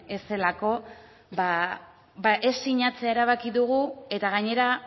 ez delako ez sinatzea erabaki dugu eta gainera